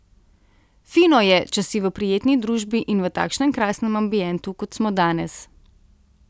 Fino je, če si v prijetni družbi in v takšnem krasnem ambientu kot smo danes.